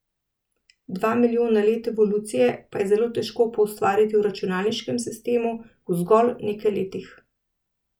Dva milijona let evolucije pa je zelo težko poustvariti v računalniškem sistemu v zgolj nekaj letih.